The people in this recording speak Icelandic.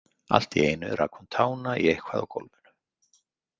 Allt í einu rak hún tána í eitthvað á gólfinu.